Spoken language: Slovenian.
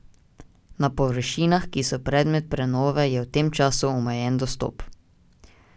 Na površinah, ki so predmet prenove, je v tem času omejen dostop.